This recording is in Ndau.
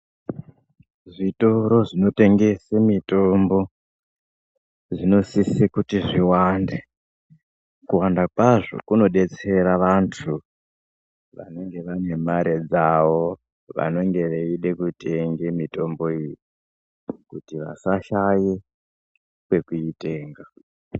Zvitoro zvinotengese mitombo , zvinosise kuti zviwande . Kuwanda kwazvo kunodetsera vantu, vanenge vane mare dzavo, vanonge veide kutenge mitomboyi, kuti vasashaye kwekuitenga.